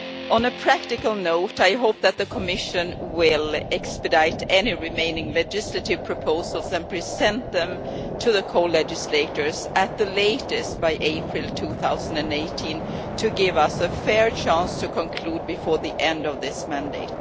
On a practical note, I hope that the Commission will expedite any remaining legislative proposals and present them to the co legislators at the latest by April 2018 to give us a fair chance to conclude before the end of this mandate.